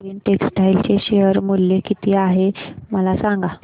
Arvind textile चे share मूल्य किती आहे मला सांगा